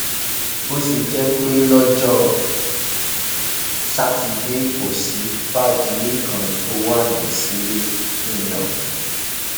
bó ṣe jẹ pé lọjọ sátidé kò sí fàdílẹ kan tó wá sílẹ nìyẹn o